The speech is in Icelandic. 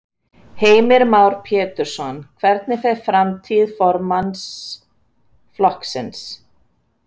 Heimir Már Pétursson: Hvernig fer framtíð formanns flokksins?